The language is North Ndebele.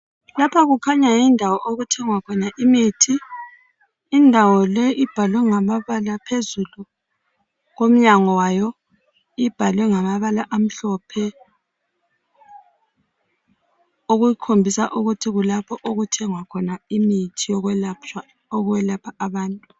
Lapha kukhanya yindawo okuthengwa khona imuthi. Indawo leyi ibhalwe ngamabala phezulu komnyango wayo, ibhalwe ngamabala àmhlophe, okukhombisa ukuthi kulapho okuthengiswa khona imithi yokwelapha abantu.